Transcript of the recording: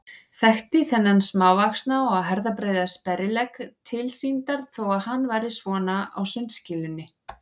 Þekkti þennan smávaxna og herðabreiða sperrilegg tilsýndar þó að hann væri svona á sundskýlunni.